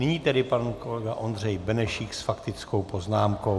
Nyní tedy pan kolega Ondřej Benešík s faktickou poznámkou.